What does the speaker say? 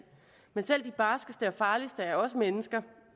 men selv de barskeste og farligste er også mennesker